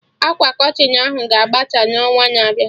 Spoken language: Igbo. Akwa Kọtịn ahụ ga-abata n'ọnwa na-abịa